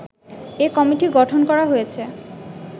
এ committee গঠন করা হয়েছে